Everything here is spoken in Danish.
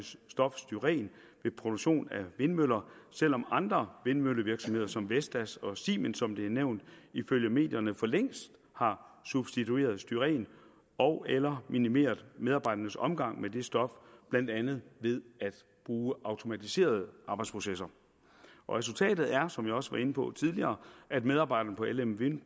stof styren ved produktion af vindmøller selv om andre vindmøllevirksomheder som vestas og siemens som det er nævnt ifølge medierne for længst har substitueret styren ogeller minimeret medarbejdernes omgang med det stof blandt andet ved at bruge automatiserede arbejdsprocesser resultatet er som jeg også var inde på tidligere at medarbejderne på lm wind